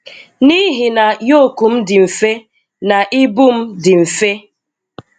Nihi na yok m dị mfe na ibu m dị mfe.